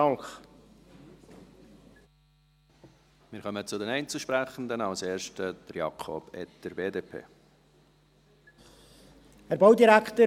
Wir kommen zu den Einzelsprechenden, als erster Jakob Etter, BDP.